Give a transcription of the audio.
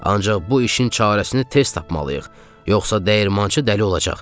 Ancaq bu işin çarəsini tez tapmalıyıq, yoxsa dəyirmançı dəli olacaq.